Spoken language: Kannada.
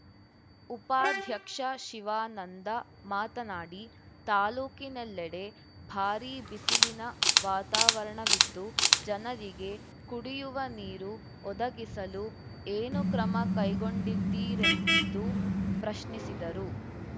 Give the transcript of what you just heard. ಉಪಾಧ್ಯಕ್ಷ ಶಿವಾನಂದ ಮಾತನಾಡಿ ತಾಲೂಕಿನೆಲ್ಲೆಡೆ ಭಾರೀ ಬಿಸಿಲಿನ ವಾತಾವರಣವಿದ್ದು ಜನರಿಗೆ ಕುಡಿಯುವ ನೀರು ಒದಗಿಸಲು ಏನು ಕ್ರಮ ಕೈಗೊಂಡಿದ್ದೀರೆಂದು ಪ್ರಶ್ನಿಸಿದರು